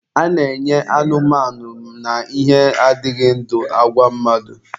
A na-enye anụmanụ na ihe adịghị ndụ, agwa mmadụ.